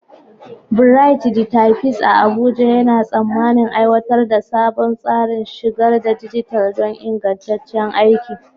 Bright, the Typist a Abuja, yana tsammanin aiwatar da sabon tsarin shigar da dijital don ingantaccen aiki.